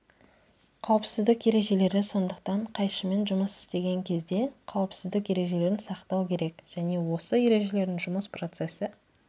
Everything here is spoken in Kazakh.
қауіпсіздік ережелері сондықтан қайшымен жұмыс істеген кезде қауіпсіздік ережелерін сақтау керек және осы ережелердің жұмыс процесі